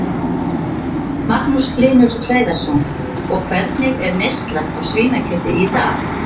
Magnús Hlynur Hreiðarsson: Og hvernig er neyslan á svínakjöti í dag?